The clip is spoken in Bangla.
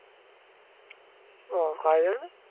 ও খাওয়া যায়না